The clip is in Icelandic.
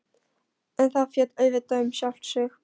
En það féll auðvitað um sjálft sig.